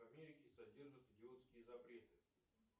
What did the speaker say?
в америке содержат идиотские запреты